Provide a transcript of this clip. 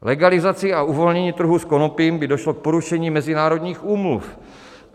Legalizací a uvolněním trhu s konopím by došlo k porušení mezinárodních úmluv.